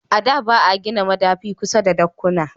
A da ba a gina madafi kusa da dakkuna